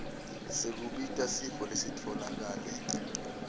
sekubika sifo lesitfolakale